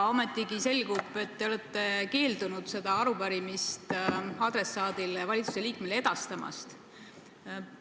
Ometi selgub, et te olete keeldunud seda arupärimist adressaadile, valitsuse liikmele edastamast.